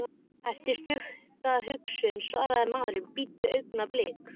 Eftir stutta umhugsun svaraði maðurinn: Bíddu augnablik.